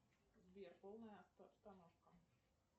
сбер полная остановка